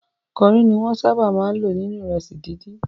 Kori ni wọ́n sábà máa ń lò nínú ìrẹsì dídì.